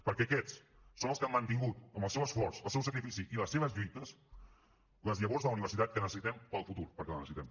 perquè aquests són els que han mantingut amb el seu esforç el seu sacrifici i les seves lluites les llavors de la universitat que necessitem per al futur perquè la necessitem